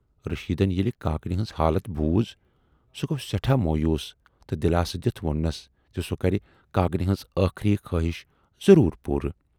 رشیٖدن ییلہِ کاکنہِ ہٕنز حالتھ بوٗز سُہ گو سٮ۪ٹھاہ مویوٗس تہٕ دِلاسہٕ دِتھ ووننس زِ سُہ کرِ کاکنہِ ہٕنز ٲخری خٲہِش ضروٗر پوٗرٕ۔